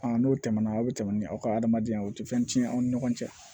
n'o tɛmɛna aw bɛ tɛmɛ ni aw ka adamadenya ye o tɛ fɛn tiɲɛn aw ni ɲɔgɔn cɛ